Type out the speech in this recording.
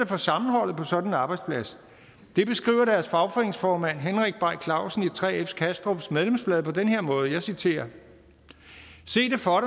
for sammenholdet på sådan en arbejdsplads det beskriver deres fagforeningsformand henrik bay clausen i 3f kastrups medlemsblad på den her måde og jeg citerer se det for